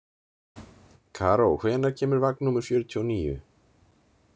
Karó, hvenær kemur vagn númer fjörutíu og níu?